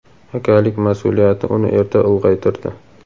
akalik masʼuliyati uni erta ulg‘aytirdi.